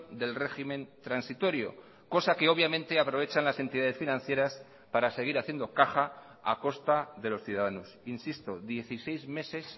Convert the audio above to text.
del régimen transitorio cosa que obviamente aprovechan las entidades financieras para seguir haciendo caja a costa de los ciudadanos insisto dieciséis meses